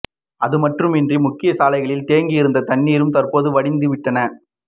அதுமட்டுமின்றி முக்கிய சாலைகளில் தேங்கி இருந்த தண்ணீரும் தற்போது வடிந்து விட்டன